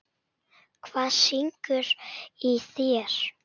Hvað syngur í þér?